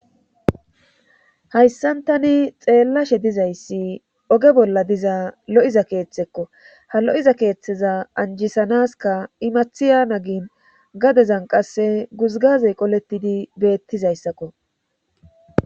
hayssan tani xeellashe dizayssi oge bolla diza lo7iza keeththekko ha lo7iza keeththeza anjisanaska imathiya nagin gadezan qasse guzgazey qoletidi beettizayssakko